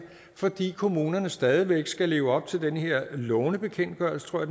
fordi kommunerne stadig væk skal leve op til den her lånebekendtgørelse tror